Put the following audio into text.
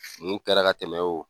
Mun kɛra ka tɛmɛ